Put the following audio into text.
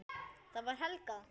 Það var Helga!